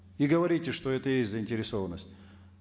и говорите что это их заинтересованность